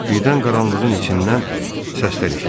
Birdən qaranlığın içindən səslər eşidildi.